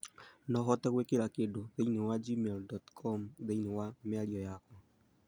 No ũhote gũĩkĩra kĩndũ thĩinĩ wa gmail dot com thĩinĩ wa mĩarĩo yakwa